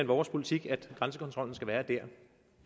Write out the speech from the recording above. vores politik at grænsekontrollen skal være der